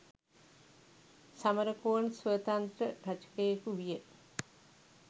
සමරකෝන් ස්වතන්ත්‍ර රචකයෙකු විය.